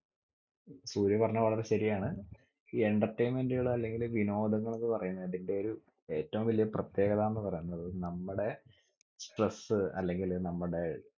സൂര്യ പറഞ്ഞ വളരെ ശരിയാണ് ഈ entertainment കൾ അല്ലെങ്കിൽ വിനോദങ്ങൾന്ന് പറയുന്നെ അതിന്റെ ഒരു ഏറ്റവും വലിയ പ്രത്യേകത എന്ന് പറയുന്നത് നമ്മടെ stress അല്ലെങ്കില് നമ്മടെ